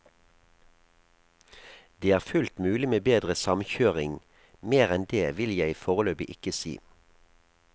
Det er fullt mulig med bedre samkjøring, mer enn det vil jeg foreløpig ikke si.